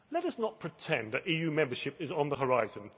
Let us not pretend that EU membership is on the horizon.